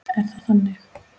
Er það þannig?